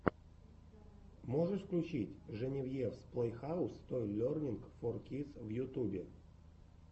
можешь включить женевьевс плэйхаус той лернинг фор кидс в ютубе